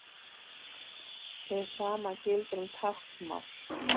Hið sama gildir um táknmál.